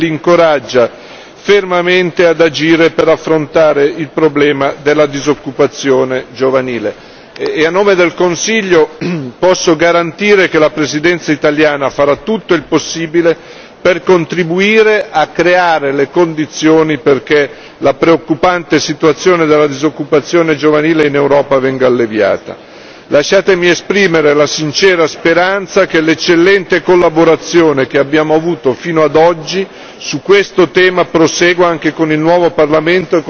Il Consiglio fornisce orientamenti agli Stati membri e li incoraggia fermamente ad agire per affrontare il problema della disoccupazione giovanile e, a nome del Consiglio, posso garantire che la Presidenza italiana farà tutto il possibile per contribuire a creare le condizioni perché la preoccupante situazione della disoccupazione giovanile in Europa venga alleviata. Lasciatemi esprimere la sincera speranza che l'eccellente collaborazione che abbiamo avuto fino ad oggi